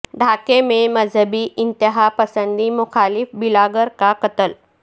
ڈھاکہ میں مذہبی انتہا پسندی مخالف بلاگر کا قتل